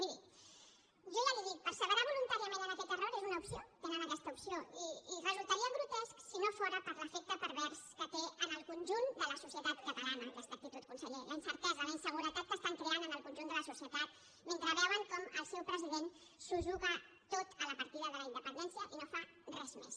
miri jo ja li ho dic perseverar voluntàriament en aquest error és una opció tenen aquesta opció i resultaria grotesc si no fos per l’efecte pervers que té en el conjunt de la societat catalana aquesta actitud conseller la incertesa la inseguretat que estan creant al conjunt de la societat mentre veuen com el seu president s’ho juga tot a la partida de la independència i no fa res més